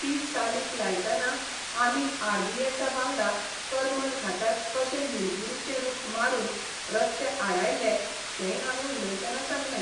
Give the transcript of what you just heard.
ती चालीक लायतना आमी आर बी एसा बांगडा करमल घाटार कशे निलगिरीचे रुख मारून रस्ते आडायल्ले तेंय हांवें उलयतना सांगलें.